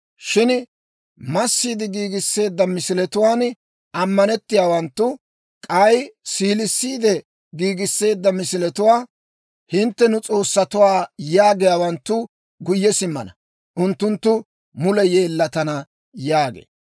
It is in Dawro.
Shin massiide giigisseedda misiletuwaan ammanettiyaawanttu, k'ay siilissiide giigisseedda misiletuwaa, ‹Hintte nu s'oossatuwaa› yaagiyaawanttu, guyye simmana. Unttunttu mule yeellatana» yaagee.